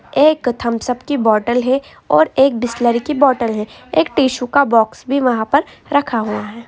एक Thums Up की bottle है और एक बिसलेरी की बोटल है और एक टिशू का बॉक्स भी वहां पर रखा हुआ है।